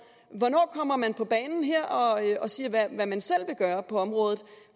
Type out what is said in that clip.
hvornår kommer man på banen her og siger hvad man selv vil gøre på området